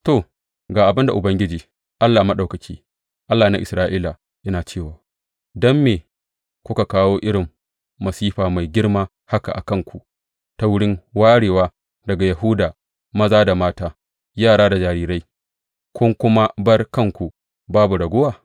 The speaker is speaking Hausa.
To, ga abin da Ubangiji Allah Maɗaukaki, Allah na Isra’ila, yana cewa don me kuka kawo irin masifa mai girma haka a kanku ta wurin warewa daga Yahuda maza da mata, yara da jarirai, kun kuma bar kanku babu raguwa?